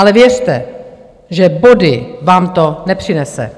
Ale věřte, že body vám to nepřinese.